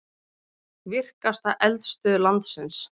Virkasta eldstöð landsins